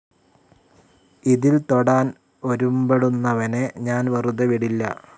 ഇതിൽ തൊടാൻ ഒരുമ്പെടുന്നവനെ ഞാൻ വെറുതെ വിടില്ല.